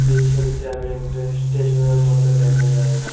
এই ছবিটা আমি একটা স্টেশন এর মত দেখা যায়।